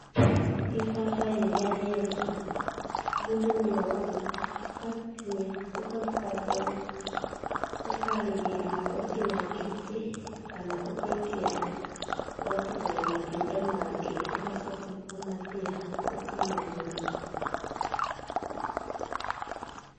Ibabaĩ rĩrĩa rĩeruha, mũndũ nĩowaga, ũgatinia, ũkaruta mbegũ, ũkarĩrĩa ũtinangĩtie, kana ũgaikia ũgatukania na matunda mangĩ, ũgacoka ũkamathĩya ũkamanyua